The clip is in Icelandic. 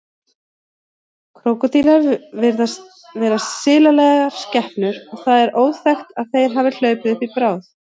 Krókódílar virðast vera silalegar skepnur og það er óþekkt að þeir hafi hlaupið uppi bráð.